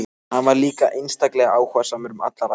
Hann var líka einstaklega áhugasamur um alla ræktun.